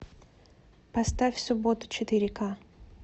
поставь суббота четыре ка